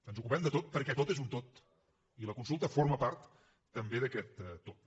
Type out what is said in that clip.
ens ocupem de tot perquè tot és un tot i la consulta forma part també d’aquest tot